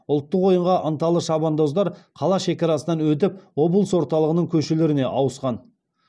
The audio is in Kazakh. ұлттық ойынға ынталы шабандоздар қала шекарасынан өтіп облыс орталығының көшелеріне ауысқан